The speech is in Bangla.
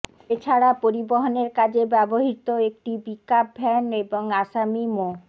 এ ছাড়া পরিবহনের কাজে ব্যবহৃত একটি পিকআপ ভ্যান এবং আসামি মো